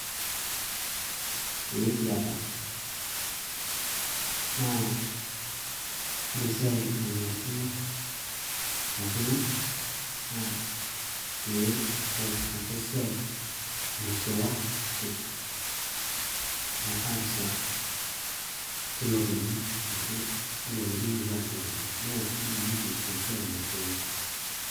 Eeeh ekiata, naa ore esiai nanarikino poki ng`ae naa pee eas ake esiai naishooki metaasa tilo kekun ashu tilo kekun likipuo aashipakino, neas kila mtu esiai naishooki.